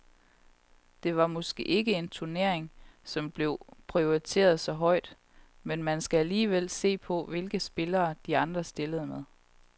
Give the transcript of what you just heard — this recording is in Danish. Det var måske ikke en turnering, som blev prioriteret så højt, men man skal alligevel se på, hvilke spillere de andre stillede med.